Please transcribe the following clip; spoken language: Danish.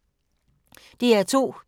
DR2